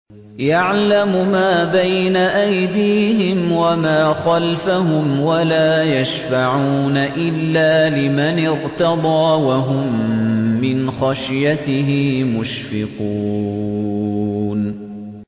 يَعْلَمُ مَا بَيْنَ أَيْدِيهِمْ وَمَا خَلْفَهُمْ وَلَا يَشْفَعُونَ إِلَّا لِمَنِ ارْتَضَىٰ وَهُم مِّنْ خَشْيَتِهِ مُشْفِقُونَ